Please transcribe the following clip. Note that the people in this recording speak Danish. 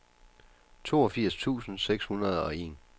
toogfirs tusind seks hundrede og en